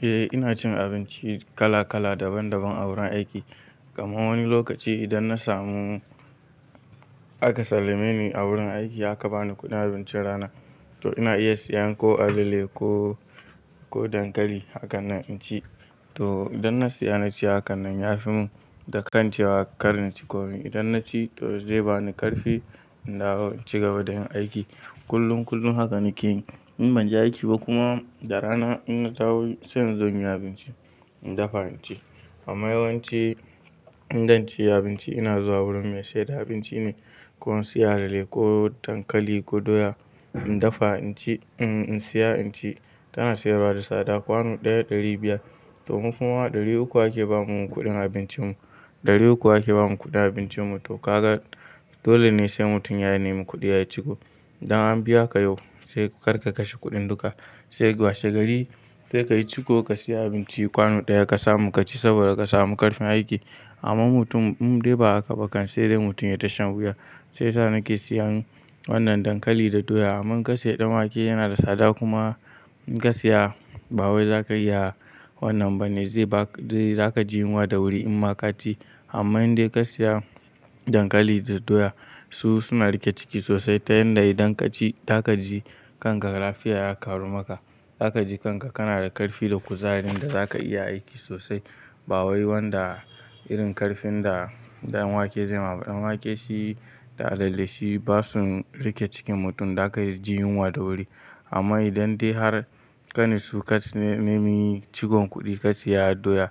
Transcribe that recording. Eh ina cin abinci kala kala daban daban a wurin aiki. Kamar wani lokaci idan na samu aka sallame ni a wurin aiki aka bani kuɗin abincin rana to ina iya siyan ko alale ko, ko dankali hakanan in ci. To idan na siya na ci hakanan ya fi mun dakan cewa karnin ci komai. Idan na ci to zai bani ƙarfi in dawo in cigaba da yin aiki. Kullum kullum hakan nake yi. In ban je aiki ba kuma, da rana in na taho sai in zo in yi abinci, in dafa in ci. Amma yawanci in zan ci abinci ina zuwa wurin me saida abinci ne. Ko in siya alale ko dankali ko doya in dafa in ci, in siya in ci. Tana sayarwa da sada kwanu ɗaya ɗari biyar to mu kuma ɗari uku ake ba mu kuɗin abincin mu, ɗari uku ake ba mu kuɗin abincin mu to ka ga dole ne sai mutum ya nemi kuɗi ya ciko. Idan an biya ka yau sai kar ka kashe kuɗin duka sai washe gari sai ka yi ciko ka siya abinci kwanu ɗaya ka samu ka ci saboda ka samu ƙarfin aiki. Amma mutum in dai ba a haka bakan sai dai mutum ya ta shan wuya. Sai sa nake siyan wannan dankali da doya. Amman ka siya ɗan wake yana da sada kuma in ka siya ba wai za ka iya wannan bane zai ba, zai za ka ji yunwa da wuri in ma ka ci. Amma in dai ka siya dankali da doya su suna riƙe ciki sosai ta yanda idan ka ci za ka ji kanka lafiya ya karu maka. Za ka ji kanka kana da ƙarfi da kuzari inda za ka iya aiki sosai. Ba wai wanda irin ƙarfin da, da ɗan wake zai ma ba. Ɗan wake shi da alale shi ba su riƙe cikin mutum za ka ji yunwa da wuri. Amma idan dai har ƙanin su ka, ka nemi cikon kuɗi ka siya doya